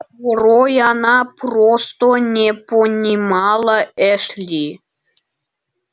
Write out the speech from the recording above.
порой она просто не понимала эшли